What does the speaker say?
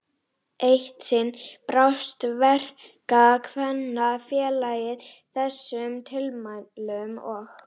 Eitt sinn brást Verkakvennafélagið þessum tilmælum og